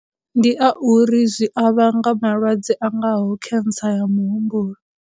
Ndi a uri zwi a vhanga malwadze angaho cancer ya muhumbulo.